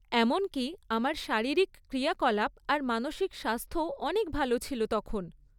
এমনকি আমার শারীরিক ক্রিয়াকলাপ আর মানসিক স্বাস্থ্যও অনেক ভালো ছিল তখন।